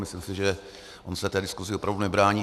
Myslím si, že on se té diskuzi opravdu nebrání.